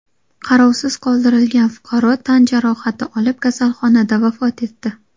Qarovsiz qoldirilgan fuqaro tan jarohati olib, kasalxonada vafot etdi.